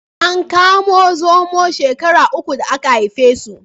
An kamo zomo shekara ukun da aka haife su.